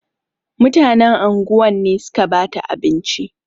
Mutanen anguwan ne suka bata abinci.